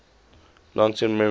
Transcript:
long term memory